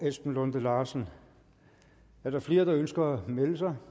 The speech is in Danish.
esben lunde larsen er der flere der ønsker at melde sig